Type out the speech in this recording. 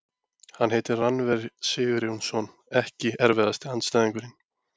Hann heitir Rannver Sigurjónsson EKKI erfiðasti andstæðingur?